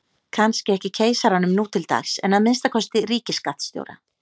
kannski ekki keisaranum nú til dags en að minnsta kosti ríkisskattstjóra